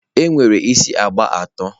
e nwere isi agba atọ.